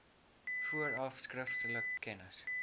vooraf skriftelik kennis